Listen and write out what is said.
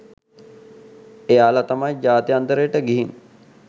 එයාලා තමයි ජාත්‍යන්තරයට ගිහින්